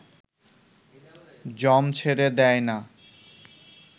যম ছেড়ে দেয় না